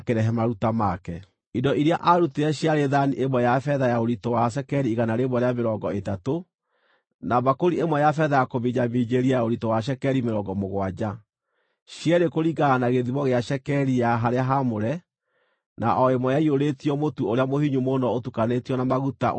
Indo iria aarutire ciarĩ thaani ĩmwe ya betha ya ũritũ wa cekeri igana rĩa mĩrongo ĩtatũ, na mbakũri ĩmwe ya betha ya kũminjaminjĩria ya ũritũ wa cekeri mĩrongo mũgwanja, cierĩ kũringana na gĩthimo gĩa cekeri ya harĩa haamũre, na o ĩmwe ĩiyũrĩtio mũtu ũrĩa mũhinyu mũno ũtukanĩtio na maguta, ũrĩ iruta rĩa mũtu;